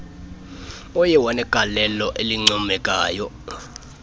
oye wanegaieio elincoomekayo